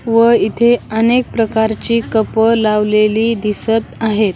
व इथे अनेक प्रकारची कप लावलेली दिसत आहेत.